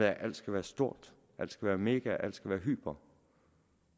at alt skal være stort alt skal være mega alt skal være hyper